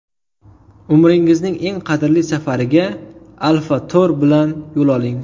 Umringizning eng qadrli safariga Alfa Tour bilan yo‘l oling!